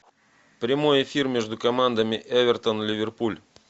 прямой эфир между командами эвертон ливерпуль